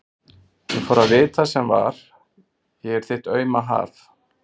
Ég fór að vita sem var: ég er þitt auma haf.